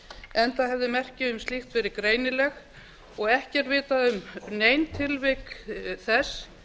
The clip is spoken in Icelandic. enda hefði merki um slíkt verið greinileg og ekki er vitað um nein tilvik þess